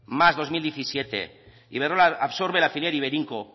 más bi mila hamazazpi iberdrola absorbe la filial iberinco